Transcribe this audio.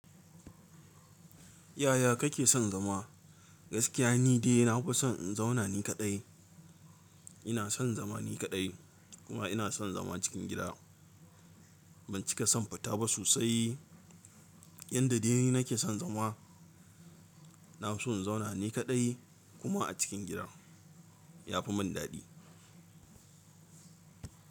Yaya kake son zama? Gaskiya ni dai na fi son in zauna ni kaɗai. Ina son zama ni kaɗai kuma ina son zama cikin gida. Ban cika son futa ba sosai. Yanda dai nake son zama, na fiso in zauna ni kaɗai kuma a cikin gida. Ya fi mun daɗi.